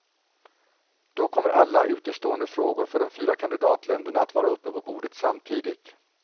Då kommer alla utestående frågor för de fyra kandidatländerna att vara uppe på bordet samtidigt.